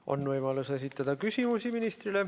On võimalus esitada ministrile küsimusi.